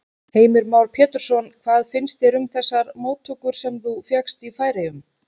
Heimir Már Pétursson: Hvað finnst þér um þessar móttökur sem þú fékkst í Færeyjum?